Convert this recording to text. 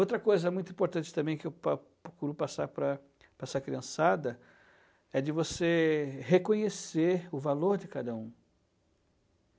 Outra coisa muito importante também que eu po procuro passar para para essa criançada é de você reconhecer o valor de cada um.